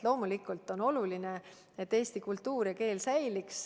Loomulikult on oluline, et eesti kultuur ja keel säiliks.